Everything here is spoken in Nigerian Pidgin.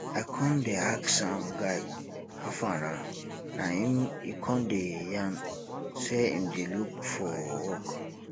i con dey ask am guy hafa nah na im e con dey yarn sey im dey look for work